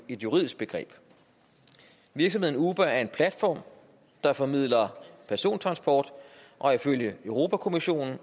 juridisk begreb virksomheden uber er en platform der formidler persontransport og er ifølge europa kommissionen